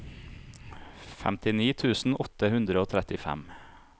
femtini tusen åtte hundre og trettifem